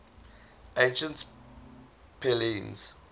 ancient pellaeans